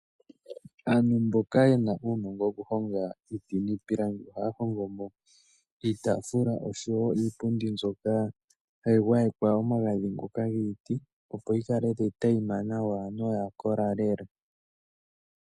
Aantu mboka yena uunongo woku honga iiti niipilangi ohaya hongomo iitafula oshowo iipundi mbyoka hayi gwayekwa omagadhi ngoka giiti, opo yi kale tayi teyima nawa noya kola lela.